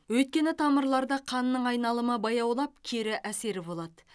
өйткені тамырларда қанның айналымы баяулап кері әсері болады